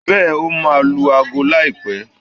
Bẹ́ẹ̀ n, ó máa lu ago láìpẹ́.